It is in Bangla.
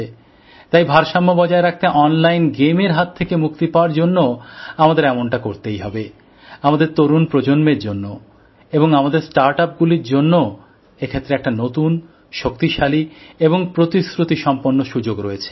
তাই ভারসাম্য বজায় রাখতে অনলাইন গেম এর হাত থেকে মুক্তি পাওয়ার জন্যও আমাদের এমনটা করতেই হবে আমাদের তরুণ প্রজন্মের জন্য এবং আমাদের স্টার্টআপগুলির জন্যও এক্ষেত্রে একটা নতুন শক্তিশালী এবং প্রতিশ্রুতি সম্পন্ন সুযোগ রয়েছে